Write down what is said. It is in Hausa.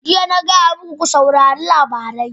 Jiya na gaya muku, ku saurari labari!